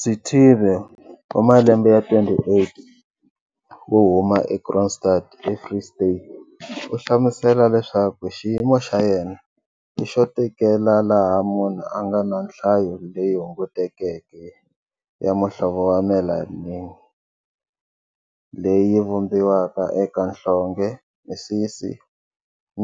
Sithibe, 28, wo huma eKroonstad eFree State u hlamusela leswaku xiyimo xa yena i xo tekela laha munhu a nga na nhlayo leyi hungutekeke ya muhlovo wa melanini leyi vumbiwaka eka nhlonge, misisi